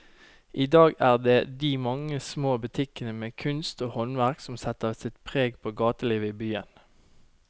I dag er det de mange små butikkene med kunst og håndverk som setter sitt preg på gatelivet i byen.